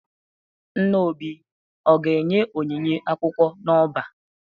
Nna Obi ga-enye onyinye akwụkwọ n'ọba?